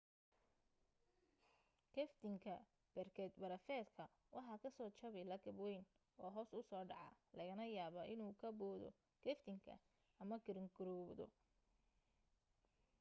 geftinka berkad barafeedka waxa ka soo jabi lakab wayn oo hoos u soo dhaca lagana yaabaa inuu ka boodo geftinka ama giraangiroodo